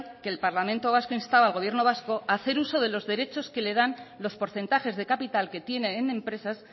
que el parlamento vasco instaba al gobierno vasco a hacer uso de los derechos que le dan los porcentajes de capital que tiene en empresas